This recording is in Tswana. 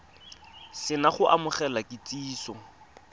se na go amogela kitsiso